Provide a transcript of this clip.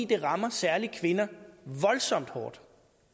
det rammer særlig kvinder voldsomt hårdt